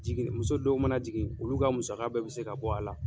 Jigin muso dɔw mana jigin , olu ka musaka bɛɛ be se ka bɔ a la.